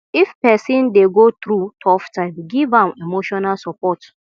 if pesin dey go thru tough time giv am emotional support